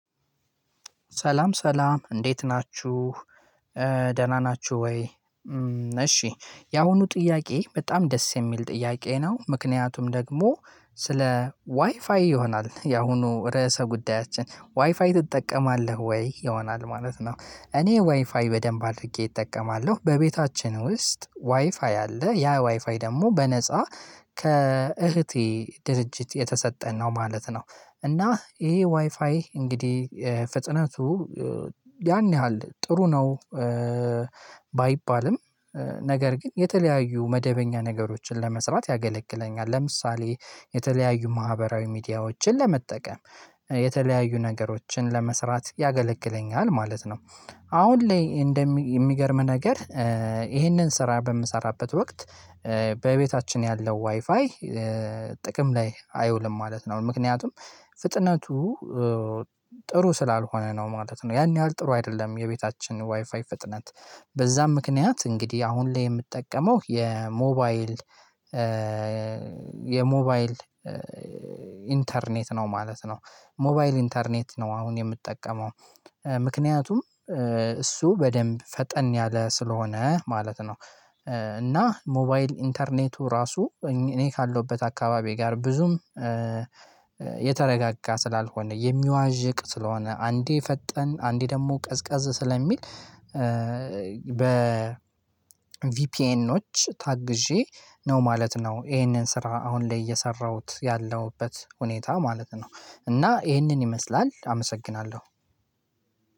ሰላም ሰላም እንዴት ናችሁ ደህና ናችሁ ወይ? እሺ ያሁኑ ጥያቄ በጣም ደስ የሚል ጥያቄ ነው ምክንያቱም ደግሞ ስለ ዋይፋይ ይሆናል ያሁኑ ርዕሰ ጉዳያችን ዋይፋይ ትጠቀማለህ ወይ ይሆናል ማለት ነው? እኔ ዋይፋይ በደንብ አድርጌ እጠቀማለሁ በቤታችን ውስጥ ዋይፋይ አለ ያ ዋይፋይ ደግሞ በነፃ ከእህቴ ድርጅት የተሰጠን ነው ማለት ነው። እና ይሄ ዋይፋይ እንግዲህ ፍጥነቱ ያን ያህል ጥሩ ነው። ባይባልም ነገር ግን የተለያዩ መደበኛ ነገሮችን ለመስራት ያገለግለኛል። ለምሳሌ የተለያዩ ማህበራዊ ሚዲያዎችን ለመጠቀም የተለያዩ ነገሮችን ለመስራት ያገለግለኛል ማለት ነው። አሁን ላይ የሚገርም ነገር ይሄንን ስራ በምሰራበት ወቅት በቤታችን ያለው ዋይፋይ ጥቅም ላይ አይውልም ማለት ነው ምክንያቱም ፍጥነቱ ጥሩ ስላልሆነ ነው ማለት ነው። ያን ያህል ጥሩ አይደለም የቤታችን ዋይፋይ ፍጥነት በዛም ምክንያት እንግዲህ አሁን ላይ የምጠቀመው የሞባይል የሞባይል ኢንተርኔት ነው ማለት ነው። ሞባይል ኢንተርኔት ነው አሁን የምጠቀመው ምክንያቱም እሱ በደንብ ፈጠን ያለ ስለሆነ ማለት ነው። እና ሞባይል ኢንተርኔቱ ራሱ እኔ ካለሁበት አካባቢ ጋር ብዙም የተረጋጋ ስላልሆነ የሚዋዥቅ ስለሆነ አንዴ ፈጠን አንዴ ደግሞ ቀዝቀዝ ስለሚል በ ቪፒኤኖች ታግዤ ነው ማለት ነው። ይሄንን ስራ አሁን ላይ እየሰራሁት ያለሁበት ሁኔታ ማለት ነው። እና ይሄንን ይመስላል አመሰግናለሁ።